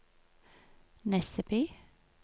Nesseby